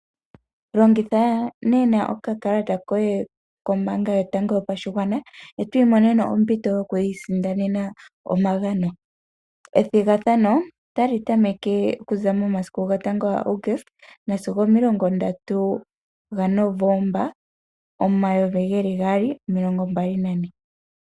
Longitha nena okakalata koye kombaanga yotango yopashigwana e to imonene ompito yokwi isindanena omagano. Ethigathano otali tameke okuza momasiku gotango gaAguste sigo omilongo ndatu gNovomba omayovi geli gaali, omilongo mbali nane.